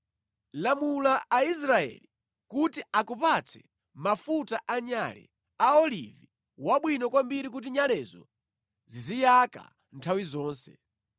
“Lamula Aisraeli kuti akupatse mafuta anyale, a olivi wabwino kwambiri kuti nyalezo ziziyaka nthawi zonse.